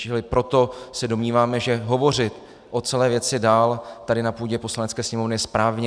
Čili proto se domníváme, že hovořit o celé věci dál tady na půdě Poslanecké sněmovny je správné.